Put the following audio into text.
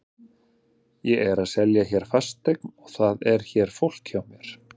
Ég er að selja hér fasteign og það er hér fólk hjá mér.